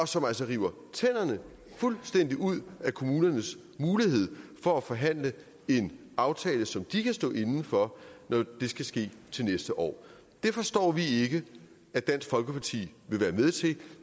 som altså river tænderne fuldstændig ud af kommunernes mulighed for at forhandle en aftale som de kan stå inde for når det skal ske til næste år det forstår vi ikke at dansk folkeparti vil være med til